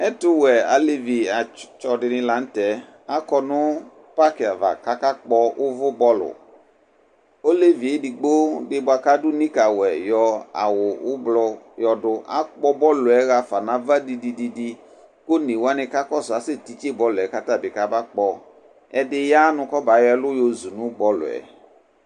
Ɛtʋwɛalevi atitsɛ dɩnɩ la nʋ tɛ akɔ nʋ pakɩ ava kʋ akakpɔ uvubɔlʋ Olevi edigbo dɩ bʋakʋ adu mitawɛ, yɔ awu ʋblʋ yɔdʋ akpɔ bɔlʋ yɛ ɣafa nʋ ava didididi, kʋ one wani ka kɔsʋ asɛtitse bɔlʋ yɛ kʋ atabɩ kabakpɔ Ɛdɩ ya nʋ kɔbayɔ ɛlʋ yozu nʋ bɔlʋ yɛ